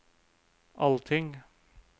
allting